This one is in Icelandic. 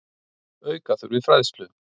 Auka þurfi fræðslu.